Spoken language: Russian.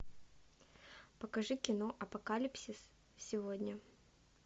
покажи кино апокалипсис сегодня